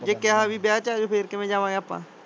ਜੇ ਕਿਹਾ ਵੀ ਵਿਆਹ ਚ ਆਜੋ ਫੇਰ ਕਿਵੇਂ ਜਾਵਾਂਗੇ ਆਪਾ?